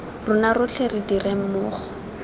rona rotlhe re dire mmogo